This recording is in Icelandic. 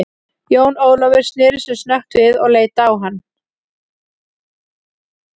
Jón Ólafur sneri sér snöggt við og leit á hann.